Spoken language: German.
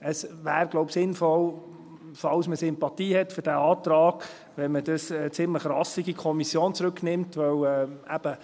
Es wäre wohl sinnvoll, falls man Sympathien für diesen Antrag hat, wenn man diesen ziemlich rassig in die Kommission zurücknehmen würde.